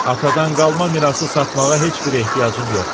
Atadan qalma mirası satmağa heç bir ehtiyacım yoxdur.